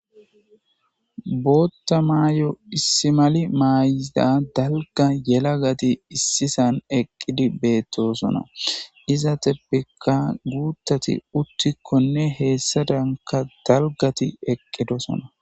bootta maayo issimali maayiza dalga yelagati issisan eqqidi beettosona iza teppekka guuttati uttikkonne heessa danka dalgati eqqidosona